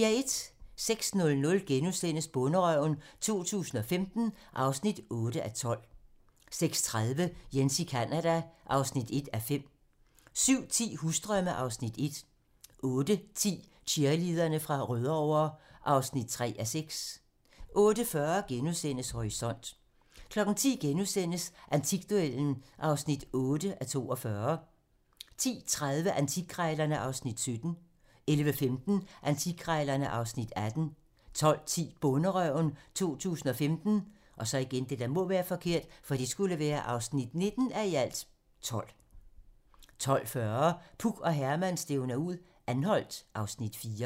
06:00: Bonderøven 2015 (8:12)* 06:30: Jens i Canada (1:5) 07:10: Husdrømme (Afs. 1) 08:10: Cheerleaderne fra Rødovre (3:6) 08:40: Horisont * 10:00: Antikduellen (8:42)* 10:30: Antikkrejlerne (Afs. 17) 11:15: Antikkrejlerne (Afs. 18) 12:10: Bonderøven 2015 (19:12) 12:40: Puk og Herman stævner ud - Anholt (Afs. 4)